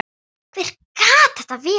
Hver gat þetta verið?